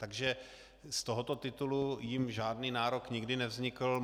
Takže z tohoto titulu jim žádný nárok nikdy nevznikl.